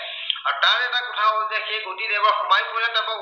তাৰ এটা কথা হল যে সেই গতিবেগত সোমাই পৰে